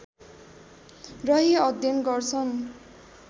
रही अध्ययन गर्छन्